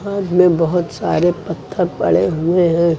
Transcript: बहोत सारे पत्थर पड़े हुए हैं।